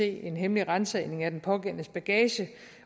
en hemmelig ransagning af den pågældendes bagage